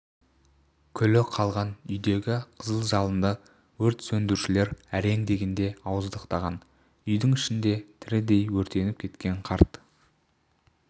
күлі қалған үйдегі қызыл жалынды өрт сөндірушілер әрең дегенде ауыздықтаған үйдің ішінде тірідей өртеніп кеткен қарт